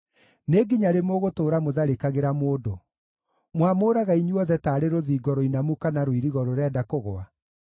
Nĩ nginya rĩ mũgũtũũra mũtharĩkagĩra mũndũ? Mwamũũraga inyuothe, taarĩ rũthingo rũinamu kana rũirigo rũrenda kũgũa?